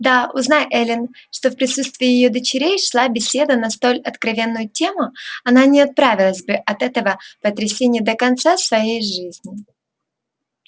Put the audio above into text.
да узнай эллин что в присутствии её дочерей шла беседа на столь откровенную тему она не оправилась бы от этого потрясения до конца своей жизни